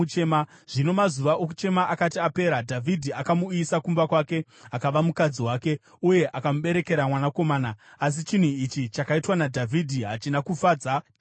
Zvino mazuva okuchema akati apera, Dhavhidhi akamuuyisa kumba kwake, akava mukadzi wake, uye akamuberekera mwanakomana. Asi chinhu ichi chakaitwa naDhavhidhi hachina kufadza Jehovha.